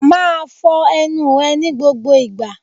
Máa fọ ẹnu ẹ ní gbogbo ìgbà.